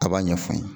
A b'a ɲɛfɔ